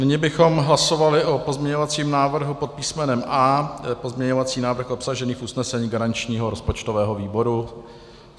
Nyní bychom hlasovali o pozměňovacím návrhu pod písmenem A, to je pozměňovací návrh obsažený v usnesení garančního rozpočtového výboru.